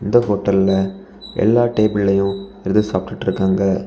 இந்த ஹோட்டல்ல எல்லா டேபிளையும் எது சாப்பிடிட்டு இருக்காங்க.